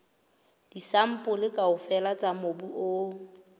disampole kaofela tsa mobu o